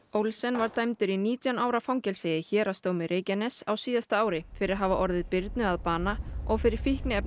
Olsen var dæmdur í nítján ára fangelsi í Héraðsdómi Reykjaness á síðasta ári fyrir að hafa orðið Birnu að bana og fyrir